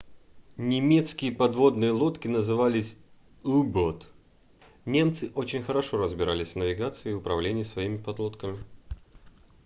немецкие подводные лодки назывались u-boat немцы очень хорошо разбирались в навигации и управлении своими подлодками